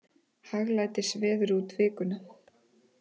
Hæglætisveður út vikuna